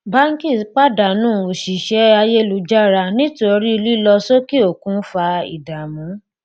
báńkì pàdánù òṣìṣẹ́ ayélujára nítorí lílọ sókè òkun fa ìdààmú.